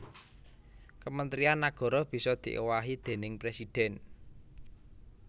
Kementrian nagara bisa diowahi déning presidhèn